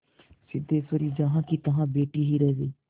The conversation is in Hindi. सिद्धेश्वरी जहाँकीतहाँ बैठी ही रह गई